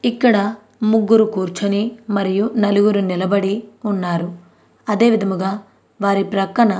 ఇక్కడ ముగ్గురు కూర్చొని మరియు నలుగురు నిలబడి ఉన్నారు అదే విధముగా వారి ప్రకన్నా --